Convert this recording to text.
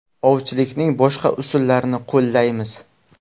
Ovchilikning boshqa usullarini qo‘llaymiz.